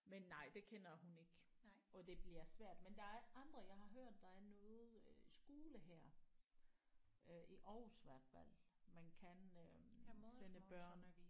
Men nej det kender hun ikke og det bliver svært men der er andre jeg har hørt der er noget øh skole her øh i Aarhus i hvert fald man kan øh sende børn